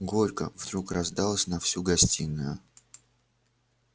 горько вдруг раздалось на всю гостиную